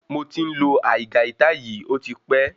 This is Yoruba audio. Moti n lo aigaita yìí ọtí pẹ